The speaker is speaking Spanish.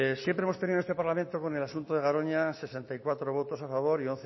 siempre hemos tenido en este parlamento con el asunto de garoña sesenta y cuatro votos a favor y